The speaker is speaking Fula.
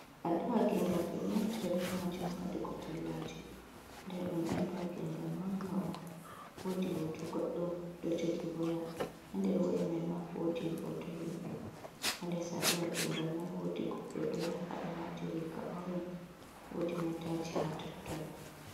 Alluha gengal ɓeɗo naftira be majum ha waɗugo tallaji ndadumni alluha gengal manga on wodi hoto goɗɗo ɗo jogi waya ha nder woya mai ma wodi hoto himɓɓe ha les alluha gengal mai wodi goɗɗo ɗo ya hado wati riga oringe wodi motaji ha totton.